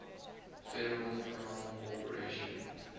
federal crown corporation